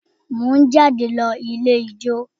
Mo ń jáde lọ ilé ijó